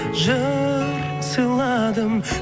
жыр сыйладым